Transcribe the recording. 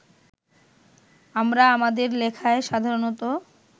আমরা আমাদের লেখায় সাধারণত